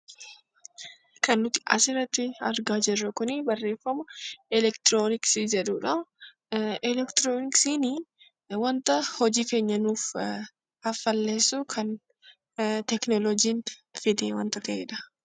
Elektirionksiin wanta hojii keenya keenya nuuf ha falleesau kan tekinooloojiin adeematu ta'eedha